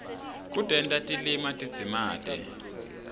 kutenta tilima tidzimate